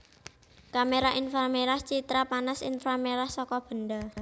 Kamera inframerah citra panas inframerah saka benda